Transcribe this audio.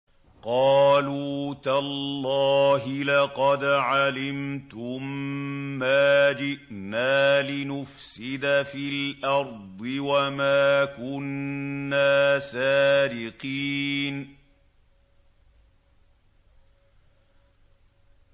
قَالُوا تَاللَّهِ لَقَدْ عَلِمْتُم مَّا جِئْنَا لِنُفْسِدَ فِي الْأَرْضِ وَمَا كُنَّا سَارِقِينَ